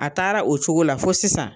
A taara o cogo la fɔ sisan